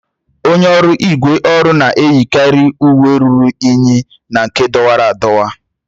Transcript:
Onye ọrụ ígwè ọrụ na-eyikarị uwe ruru unyi na nke dọwara adọwa.